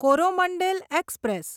Coromandel express